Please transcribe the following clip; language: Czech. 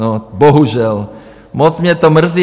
No, bohužel, moc mě to mrzí.